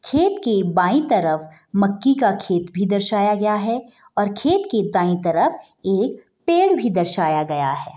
खेत के बाऐं तरफ मक्के का खेत भी दर्शाया गया है और खेत के दाऐं तरफ एक पेड़ भी दर्शाया गया है |